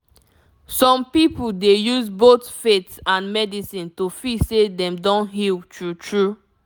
some people dey use both faith and medicine to feel say dem don heal true true